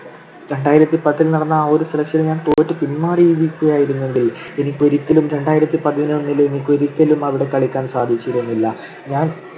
രണ്ടായിരത്തിപത്തിൽ നടന്ന ആ ഒരു selection ൽ ഞാൻ തോറ്റു പിന്മാറിയിരിക്കുകയായിരുന്നെങ്കിൽ എനിക്ക് ഒരിക്കലും രണ്ടായിരത്തി പതിനൊന്നിൽ എനിക്ക് ഒരിക്കലും അവിടെ കളിക്കാൻ സാധിച്ചിരുന്നില്ല. ഞാൻ